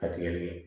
A tigɛli kɛ